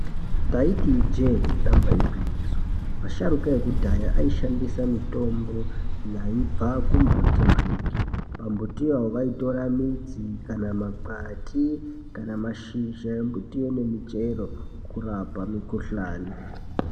Taiti ijee damba igwinyiso, asharukwa ekudhaya aishandisa mitombo yaibva kumbuti maningi. Pambutiyo vaitora midzi, kana makwati, kana mashizha embutiyo nemichero kurapa mikhuhlani.